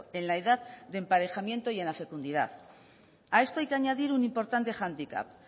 en la edad de emparejamiento y en la fecundidad a esto hay que añadir un importante hándicap